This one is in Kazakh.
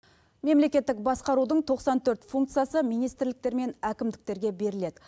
мемлекеттік басқарудың тоқсан төрт функциясы министрліктер мен әкімдіктерге беріледі